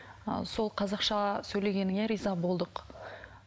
ы сол қазақша сөйлегеніңе риза болдық